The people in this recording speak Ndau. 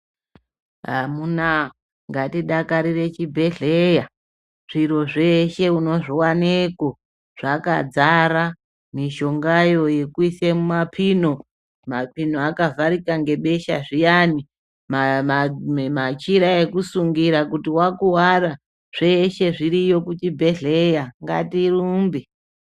Amuna, ngatidakarire chibhedhleya, zviro zveshe unozviwaneko, zvakadzara mishongayo yekuyise mapino, mapino akavharika zviyani machira ekusungira kuti wakuwara zvose zviriyo kuchibhedhlera ngatirumbe.